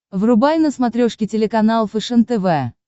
врубай на смотрешке телеканал фэшен тв